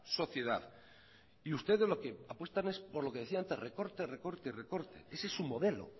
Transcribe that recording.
sociedad y ustedes lo que apuestan es por lo que decía antes recorte recorte y recorte ese es su modelo